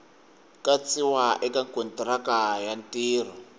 katsiwa eka kontiraka ya ntirho